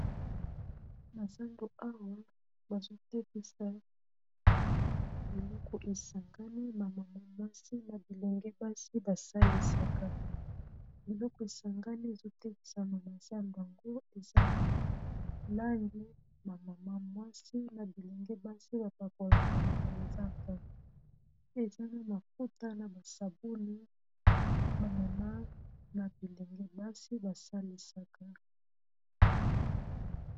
Na zando awa bazotekisa biloko esangani bamama mwasi na bilenge basi basalisaka biloko esangani ezotekisa mamasa mbango eza balangi bamama mwasi na bilenge basi bapakolakana manzaka eza na makuta na basabuni bamama na bilenge basi basalisaka